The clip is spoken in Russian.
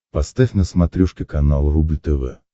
поставь на смотрешке канал рубль тв